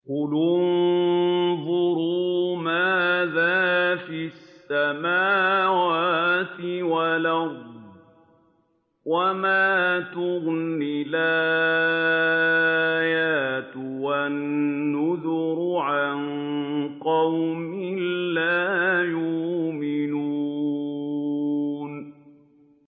قُلِ انظُرُوا مَاذَا فِي السَّمَاوَاتِ وَالْأَرْضِ ۚ وَمَا تُغْنِي الْآيَاتُ وَالنُّذُرُ عَن قَوْمٍ لَّا يُؤْمِنُونَ